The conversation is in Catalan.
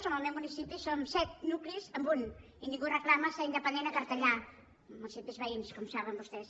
en el meu municipi som set nuclis en un i ningú reclama ser independent a cartellà municipis veïns com saben vostès